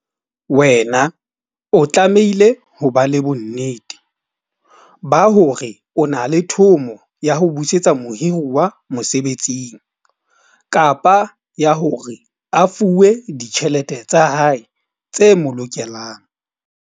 Wena o tlamehile ho ba le bonnete ba hore o na le thomo ya ho busetsa mohiruwa mosebetsing kapa ya hore a fuwe ditjhelete tsa hae tse mo lokelang.